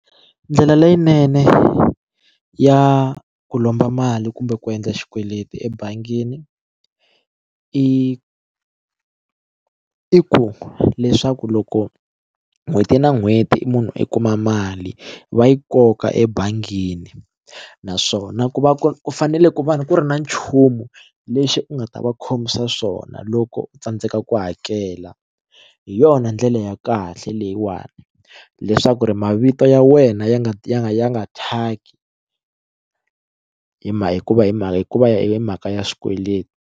Ndlela leyinene ya ku lomba mali kumbe ku endla xikweleti ebangini i i ku leswaku loko n'hweti na n'hweti i munhu i kuma mali va yi koka ebangini naswona ku va ku fanele ku va ku ri na nchumu lexi u nga ta va khomisa swona loko u tsandzeka ku hakela hi yona ndlela ya kahle leyiwani leswaku ri mavito ya wena ya nga ya nga ya nga thyaki hi ma hikuva hi mhaka hikuva ya hi mhaka ya swikweleti.